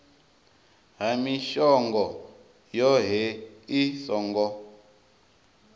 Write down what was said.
ha mishongo yohe i songo